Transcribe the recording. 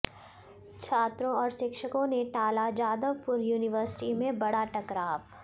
छात्रों और शिक्षकों ने टाला जादवपुर युनिवर्सिटी में बड़ा टकराव